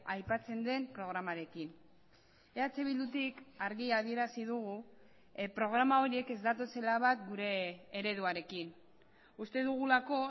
aipatzen den programarekin eh bildutik argi adierazi dugu programa horiek ez datozela bat gure ereduarekin uste dugulako